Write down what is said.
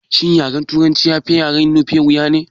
Shin yaren turanci ya fi yaren nufe wuya ne?